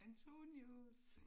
Antonius!